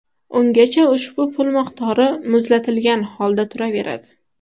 Ungacha ushbu pul miqdori ‘muzlatilgan’ holda turaveradi.